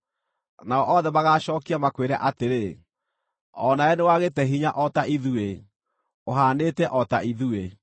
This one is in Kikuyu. Nao othe magaacookia, makwĩre atĩrĩ, “O nawe nĩwagĩte hinya o ta ithuĩ; ũhaanĩte o ta ithuĩ.”